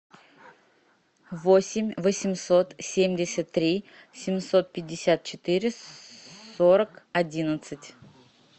восемь восемьсот семьдесят три семьсот пятьдесят четыре сорок одиннадцать